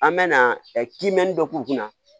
An bɛ na kiimɛni dɔ k'u kunna